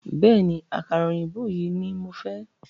Bẹ̀ẹ́ni, àkàrà òyìnbó yìí ní mo fẹ́.